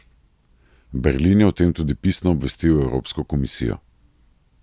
Berlin je o tem tudi pisno obvestil Evropsko komisijo.